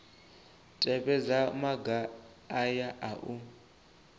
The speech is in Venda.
tevhedza maga aya a u